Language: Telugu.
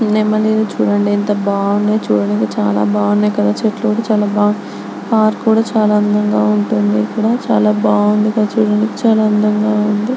నెమలిని చూడండి ఎంత బాగున్నాయో చూడండి చాలా బాగున్నాయి కదా చెట్లు కూడా చాలా పార్క్ కూడా చాలా అందంగా ఉంటుంది. ఇక్కడ బాగుందిగా చూడండి చాలా అందంగా ఉంది.